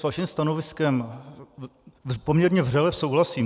S vaším stanoviskem poměrně vřele souhlasím.